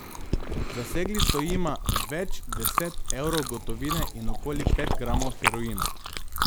Zasegli so jima več deset evrov gotovine in okoli pet gramov heroina.